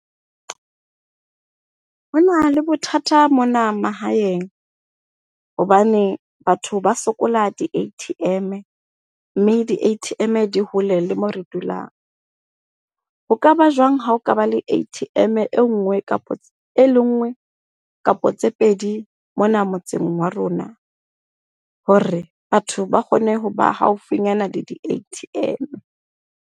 Hona le bothata mona mahaeng. Hobane batho ba sokola di-A_T_M mme di-A_T_M di hole le moo re dulang. Ho kaba jwang ha o ka ba le A_T_M e nngwe kapa e le nngwe kapa tse pedi mona motseng wa rona hore batho ba kgone hoba haufinyana le di-A_T_M.